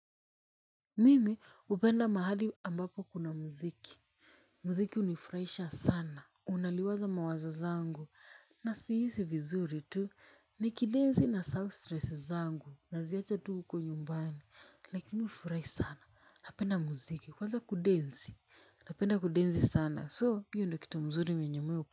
Mimi hupenda mahali ambapo kuna muziki. Muziki hunifurahisha sana, unaliwaza mawazo zangu. Na siisi vizuri tu ni kidenzi na self stress zangu na ziyacha tu uko nyumbani. Na kinifurai sana, napenda muziki, kwanza kudensi, napenda kudensi sana so hiyo ndo kitu mzuri mwenye mi u.